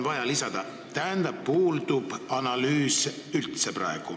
" Tähendab, praegu puudub analüüs üldse.